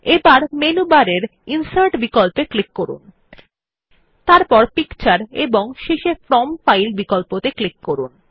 এবার menu bar এর insert বিকল্পে ক্লিক করুন তারপর পিকচার এবং শেষে ফ্রম ফাইল বিকল্পে ক্লিক করুন